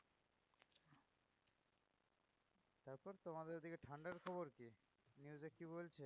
তমাদের ওদিকে ঠান্ডার খবর কী? news এ কী বলছে?